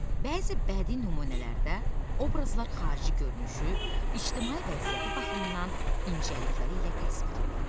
Bəzi bədii nümunələrdə obrazlar xarici görünüşü, ictimai vəziyyəti baxımından incəlikləri ilə təsvir edilir.